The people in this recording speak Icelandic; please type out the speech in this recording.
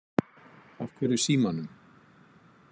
Af hverju símanum?